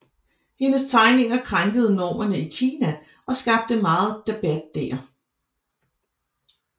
Hendes tegninger krænkede normerne i Kina og skabte meget debat der